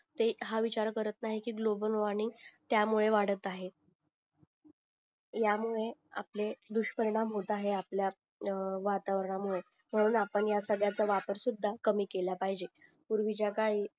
ते हा विचार करत नाही कि गोलबल वॉर्मिंग त्या मुळे वाडत आहे ह्या मुळे आपले दुष्परिणाम होत आहे आपल्या वातावरणा मुळे म्हणून अपन ह्या सगळ्याचा वापर सुद्धा कमी केला पाहिजे पूर्वीच्या काळात